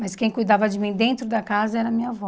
Mas quem cuidava de mim dentro da casa era a minha avó.